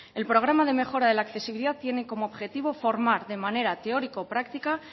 el programa de mejora de la accesibilidad tiene como objetivo formar de manera teórico práctica